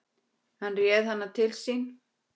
Hann réð hana til sín.